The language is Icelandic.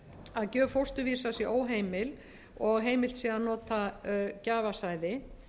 að gjöf fósturvísa sé óheimil og heimilt sé að nota gjafasæði